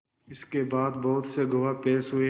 इसके बाद बहुत से गवाह पेश हुए